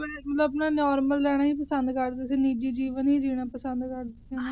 ਮਤਲਬ Normal ਰਹਿਣਾ ਹੀ ਪਸੰਦ ਕਰਦੇ ਸੀ ਨਿਜੀ ਜੀਵਨ ਹੀ ਜੀਣਾ ਪਸੰਦ ਕਰਦੇ ਸੀ